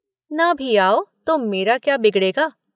न भी आओ तो मेरा क्या बिगड़ेगा?